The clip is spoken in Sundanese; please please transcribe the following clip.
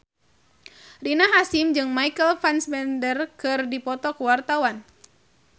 Rina Hasyim jeung Michael Fassbender keur dipoto ku wartawan